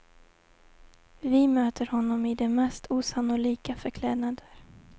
Vi möter honom i de mest osannolika förklädnader.